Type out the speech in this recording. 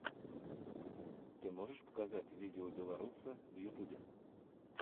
ты можешь показать видеобеларуса в ютубе